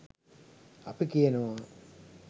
අපි කියනවා